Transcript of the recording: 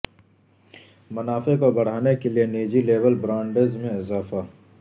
منافع کو بڑھانے کے لئے نجی لیبل برانڈز میں اضافہ